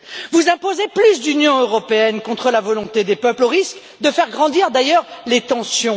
Vous imposez plus d'Union européenne contre la volonté des peuples au risque de faire grandir, d'ailleurs, les tensions.